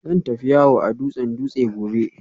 Zan tafi yawo a dutsen Dutse gobe